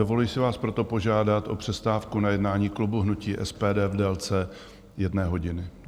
Dovoluji si vás proto požádat o přestávku na jednání klubu hnutí SPD v délce jedné hodiny.